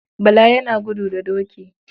Bala yana gudu da doki.